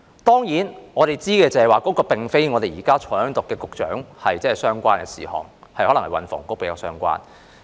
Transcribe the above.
當然，我們知道，這並非與現時在席的局長相關的事項，可能與運輸及房屋局比較相關。